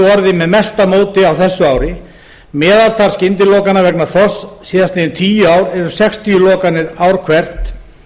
orðið með mesta móti á þessu ári meðaltal skyndilokana vegna þorsks síðastliðin tíu ár er um sextíu lokanir ár hvert